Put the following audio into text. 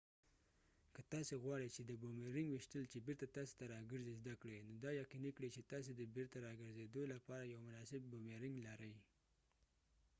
که تاسې غواړئ چې د بومیرنګ ویشتل چې بیرته تاسې ته راګرځې زده کړئ نو دا یقیني کړئ چې تاسې د بیرته راګرځیدلو لپاره یو مناسب بومیرنګ لرئ